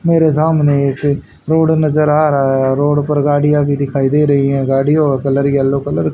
मेरे सामने एक रोड नजर आ रहा है रोड पर गाड़ीया भी दिखाई दे रही है गाड़ीयों कलर येलो कलर --